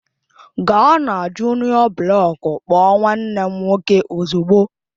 Gaa na juniọ blọku kpọọ nwanne m nwoke ozugbo!